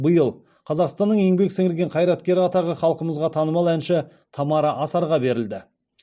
биыл қазақстанның еңбек сіңірген қайраткері атағы халқымызға танымал әнші тамара асарға берілді